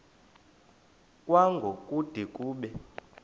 kwango kude kube